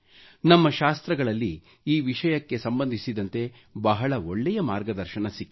ನಮ್ಮ ಶಾಸ್ತ್ರಗಳಲ್ಲಿ ಈ ವಿಷಯಕ್ಕೆ ಸಂಬಂಧಿಸಿದಂತೆ ಬಹಳ ಒಳ್ಳೆಯ ಮಾರ್ಗದರ್ಶನ ಸಿಕ್ಕಿದೆ